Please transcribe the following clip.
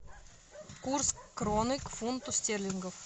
курс кроны к фунту стерлингов